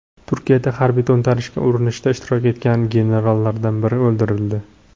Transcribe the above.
Turkiyada harbiy to‘ntarishga urinishda ishtirok etgan generallardan biri o‘ldirildi.